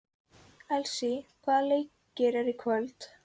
Elsý, hvaða leikir eru í kvöld?